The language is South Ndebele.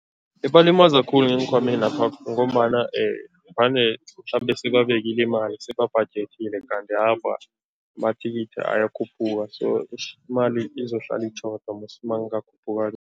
Ibalimaza khulu ngeenkhwamenapha ngombana vane mhlambe sebabekile imali, sebabhajethile, kanti awa, amathikithi ayakhuphuka so eish imali izohlala itjhoda mos makungakhuphuka.